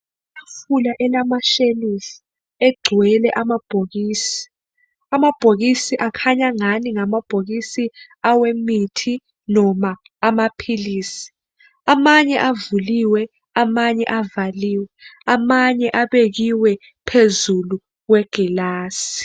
Itafula elamashelufu, egcwele amabhokisi, amabhokisi akhanya ngani angabhokisi awemithi noma amaphilisi. Amanye avuliwe , amanye avaliwe, amanye abekiwe phezu kwazulu kwegilasi.